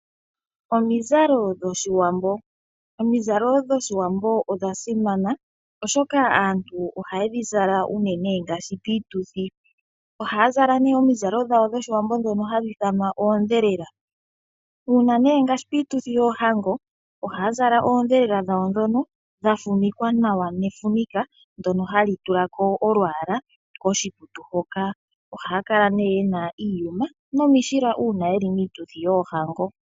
Omizalo dhOshiwambo Omizalo dhOshiwambo odha simana, oshoka aantu ohaye dhi zala unene ngaashi piituthi. Ohaya zala omizalo dhawo dhOshiwambo ndhono hadhi ithanwa oondhelela. Ngaashi piituthi yoohango ohaya zala oondhelela dhawo ndhono dha fumikwa nawa nefumika ndyono hali tula ko olwaala koshikutu hoka. Ohaya kala nee ye na iiyuma nomishila uuna ye li miituthi yoohango.